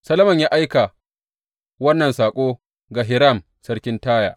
Solomon ya aika wannan saƙo ga Hiram sarkin Taya.